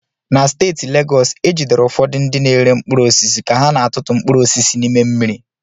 Na steeti Legọs, e jidere ụfọdụ ndị na-ere mkpụrụ osisi ka ha na-atụtụ mkpụrụ osisi n'ime mmiri.